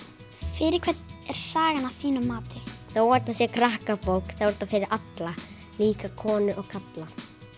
fyrir hvern er sagan að þínu mati þó að þetta sé krakkabók þá er þetta fyrir alla líka konur og kalla